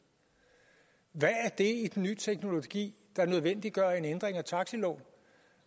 nye teknologi der nødvendiggør en ændring af taxiloven